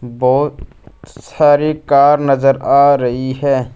बहोत सारी कार नजर आ रही है।